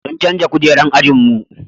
sun canja kujerun ajinmu